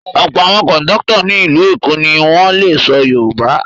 Ọ̀pọ̀ àwọn kọ̀ńdọ́tọ̀ ní ìlú Èkó ni wọ́n le sọ Yorùbá.